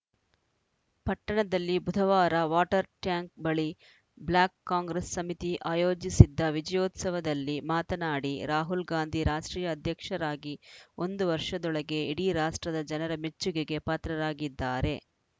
ಪಟ್ಟಣದಲ್ಲಿ ಬುಧವಾರ water tank ಬಳಿ ಬ್ಲಾಕ್‌ ಕಾಂಗ್ರೆಸ್‌ ಸಮಿತಿ ಆಯೋಜಿಸಿದ್ದ ವಿಜಯೋತ್ಸವದಲ್ಲಿ ಮಾತನಾಡಿ ರಾಹುಲ್‌ ಗಾಂಧಿ ರಾಷ್ಟ್ರೀಯ ಅಧ್ಯಕ್ಷರಾಗಿ ಒಂದು ವರ್ಷದೊಳಗೆ ಇಡೀ ರಾಷ್ಟ್ರದ ಜನರ ಮೆಚ್ಚುಗೆಗೆ ಪಾತ್ರರಾಗಿದ್ದಾರೆ